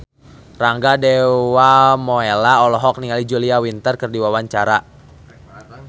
Rangga Dewamoela olohok ningali Julia Winter keur diwawancara